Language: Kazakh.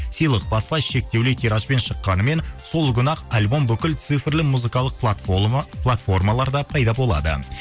сыйлық баспа шектеулі тиражбен шыққанымен сол күні ақ альбом бүкіл цифрлі музыкалық платформаларда пайда болады